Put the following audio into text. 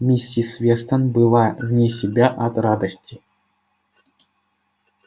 миссис вестон была вне себя от радости